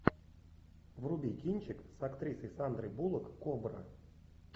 вруби кинчик с актрисой сандрой буллок кобра